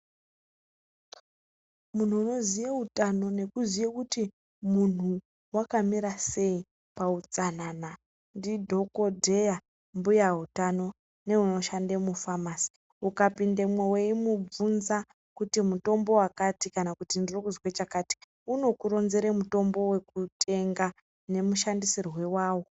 Munhu unoziye utano nekuziye kuti munhu wakamira sei pautsanana ndidhokodheya, mbuya utano neunoshanda mufamasi. Ukapindemwo weimubvunza kuti mutombo wakati kana kuti ndirikuzwe chakati unokuronzere mutombo wekutenga nemushandisirwe wawo.